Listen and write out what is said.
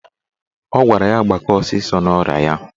Ọ gwara ya gbakee ọsịsọ n'ọrịa ya.